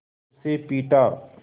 उसे पीटा